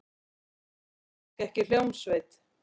Við þurfum kannski ekki hljómsveit.